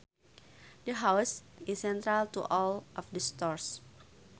The house is central to all of the stores